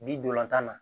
Bi dolantan na